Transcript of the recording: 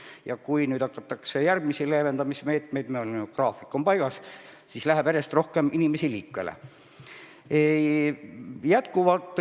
Ja kui nüüd hakatakse rakendama järgmisi leevendamismeetmeid – meil on ju graafik paigas –, siis läheb järjest rohkem inimesi liikvele.